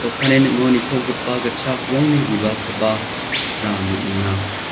okanni ning·o nitogipa gitchak rongni bibalkoba nikna man·enga.